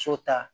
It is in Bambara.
So ta